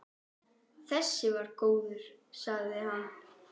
Þessi var góður, sagði hann.